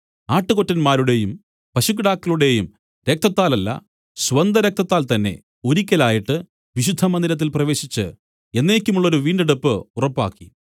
ആട്ടുകൊറ്റന്മാരുടെയും പശുക്കിടാക്കളുടെയും രക്തത്താലല്ല സ്വന്തരക്തത്താൽ തന്നേ ഒരിക്കലായിട്ട് വിശുദ്ധമന്ദിരത്തിൽ പ്രവേശിച്ച് എന്നേക്കുമുള്ളൊരു വീണ്ടെടുപ്പ് ഉറപ്പാക്കി